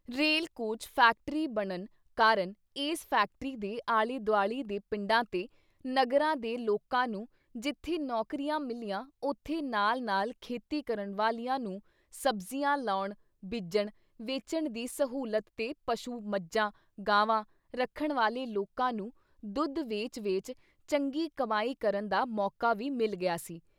Rail coach factory ਬਣਨ ਕਾਰਨ ਇਸ ਫੈਕਟਰੀ ਦੇ ਆਲੇ-ਦੁਆਲੇ ਦੇ ਪਿੰਡਾਂ ਤੇ ਨਗਰਾਂ ਦੇ ਲੋਕਾਂ ਨੂੰ ਜਿੱਥੇ ਨੌਕਰੀਆਂ ਮਿਲੀਆਂ ਉਥੇ ਨਾਲ ਨਾਲ ਖੇਤੀ ਕਰਨ ਵਾਲਿਆਂ ਨੂੰ ਸਬਜ਼ੀਆਂ ਲਾਉਣ ਬੀਜਣ ਵੇਚਣ ਦੀ ਸਹੂਲਤ ਤੇ ਪਸ਼ੂ ਮੱਝਾਂ, ਗਾਵਾਂ ਰੱਖਣ ਵਾਲੇ ਲੋਕਾਂ ਨੂੰ ਦੁੱਧ ਵੇਚ-ਵੇਚ ਚੰਗੀ ਕਮਾਈ ਕਰਨ ਦਾ ਮੌਕਾ ਵੀ ਮਿਲ ਗਿਆ ਸੀ।